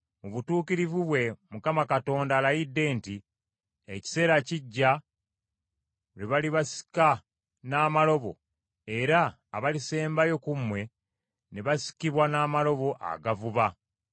Mu butukuvu bwe Mukama Katonda alayidde nti, “Ekiseera kijja lwe balibasika n’amalobo, era abalisembayo ku mmwe ne basikibwa n’amalobo agavuba.